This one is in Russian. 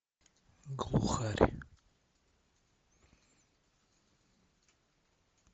глухарь